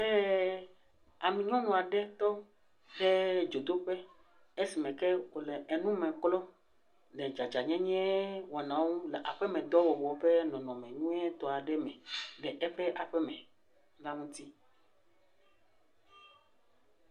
Eee,e,ee am.., nyɔnu aɖe tɔ ɖe dzodoƒe, esime ke wòle enume klɔ le dzadzanyenyewɔnawo ŋu le aƒemedɔwɔwɔ ƒe nɔnɔme nyuietɔ aɖe me le eƒe aƒeme la ŋuti.